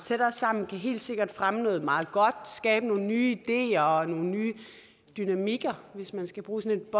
tættere sammen kan helt sikkert fremme noget meget godt skabe nogle nye ideer og nogle nye dynamikker hvis man skal bruge sådan